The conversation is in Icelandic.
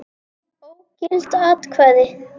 Ógild atkvæði